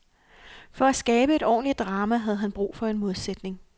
For at skabe et ordentligt drama havde han brug for en modsætning.